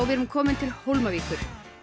við erum komin til Hólmavíkur